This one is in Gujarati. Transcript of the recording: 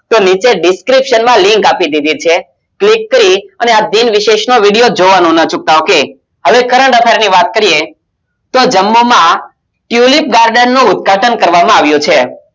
તો નીચે description માં link આપી દીધી છે. click કરી અને આપ વિશેષ નો video જોવાનો ન ચૂકવત ok હવે current affairs ની વાત કરીએ તો જમ્મુ માં tulip garden નું ઉદ્ઘાટન કરવામાં આવ્યો છે.